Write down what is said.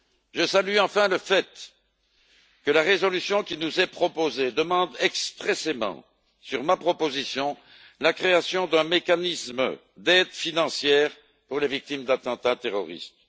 Je salue, enfin, le fait que la résolution qui nous est proposée demande expressément, sur ma proposition, la création d'un mécanisme d'aide financière pour les victimes d'attentats terroristes.